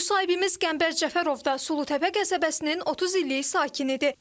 Müsahibimiz Qəmbər Cəfərov da Sulutəpə qəsəbəsinin 30 illik sakinidir.